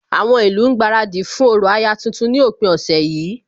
Àwọn ìlú ń gbaradì fún orò aya tuntun ní òpin ọ̀sẹ̀ yìí